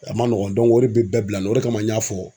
A ma nɔgɔn o de bi bɛɛ bila nin na o de kama n y'a fɔ.